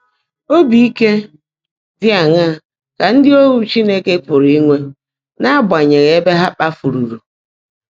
Óbí íke dị́ áṅaá kà ndị́ óhu Chínekè pụ́rụ́ ínwé n’ágbányèghị́ ébè há kpáfụ́rụ́rù?